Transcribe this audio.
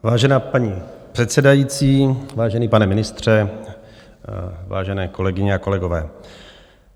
Vážená paní předsedající, vážený, pane ministře, vážené kolegyně a kolegové.